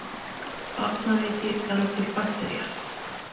Barnaveiki veldur baktería.